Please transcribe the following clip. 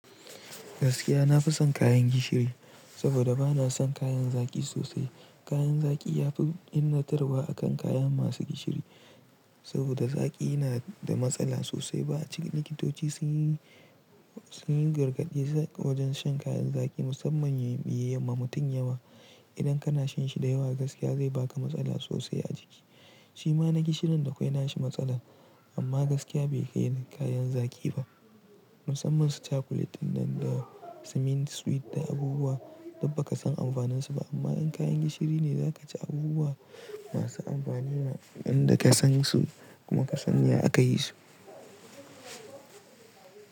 Gaskiya na fi son kayan gishiri, saboda bana son kayan zaƙi sosai. Kayan zaki yafi illatarwa akan kayan masu gishiri. Saboda zaki yana da matsala sosai. Ba cin, likitoci sun yi, sun yi gargaɗi wajen shan kayan zaki musamman yayi, ya yi ma mutum yawa. Idan kana shan shi da yawa gaskiya zai baka matsala sosai a jiki. Shi ma na gishirin da kwai na shi matsala, amma gaskiya bai kai kayan zaki ba. Musamman su cakulet ɗin nan da ɗa abubuwa, dukba ka san amfanin su ba. Amma in kayan gishiri ne zaka ci abubuwa masu amfani, wandaka san su kuma kasan ya aka yi su.